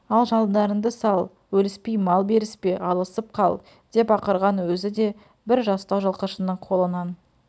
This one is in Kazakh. ал жандарынды сал өліспей мал беріспе алысып қал деп ақырған өзі де бір жастау жылқышының қолынан